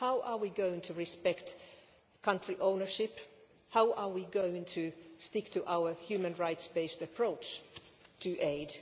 How are we going to respect country ownership? How are we going to stick to our human rights based approach to aid?